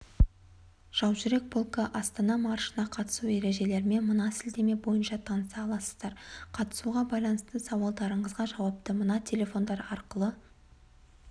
жаужүрек полкі астана маршына қатысу ережелерімен мынасілтемебойынша таныса аласыздар қатысуға байланысты сауалдарыңызға жауапты мына телефондар арқылы